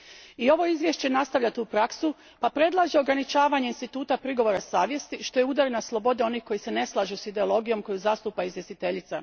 I ovo izvješće nastavlja tu praksu pa predlaže ograničavanje instituta prigovora savjesti, što je udar na slobode onih koji se ne slažu s ideologijom koju zastupa izvjestiteljica.